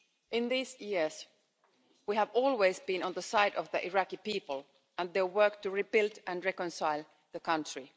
In these years, we have always been on the side of the Iraqi people, and their work to rebuild and reconcile the country.